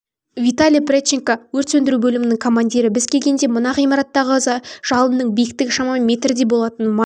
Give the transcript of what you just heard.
виталий прядченко өрт сөндіру бөлімінің командирі біз келгенде мына ғимарттағы жалынның биіктігі шамамен метрдей болатын май